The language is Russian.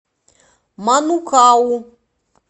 манукау